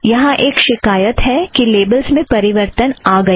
यहाँ एक शिकायत है कि लेबलस् में परिवर्तन आ गया है